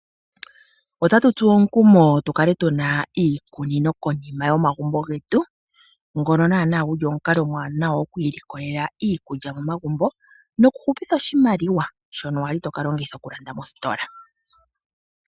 Otatu tsuwa omukumo tukale tuna iikunino konima yomagumbo getu. Ngono naana guli omukalo omuwanawa oku ilikolela iikulya momagumbo, noku hupitha oshimaliwa shono wali toka longitha okulanda mositola.